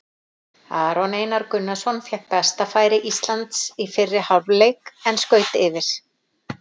Aron Einar Gunnarsson fékk besta færi Íslands í fyrri hálfleik en skaut yfir.